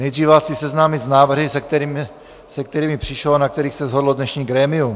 Nejdříve vás chci seznámit s návrhy, se kterými přišlo a na kterých se shodlo dnešní grémium.